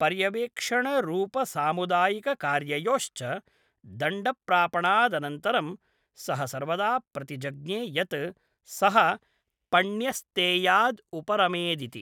पर्यवेक्षणरूपसामुदायिककार्ययोश्च दण्डप्रापणादनन्तरं सः सर्वदा प्रतिजज्ञे यत् सः पण्यस्तेयाद् उपरमेदिति।